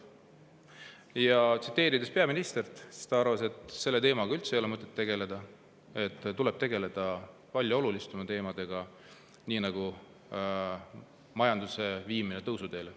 Kui peaministri, siis ta arvas, et selle teemaga ei ole üldse mõtet tegeleda, tegeleda tuleb palju olulisemate teemadega, nagu majanduse viimine tõusuteele.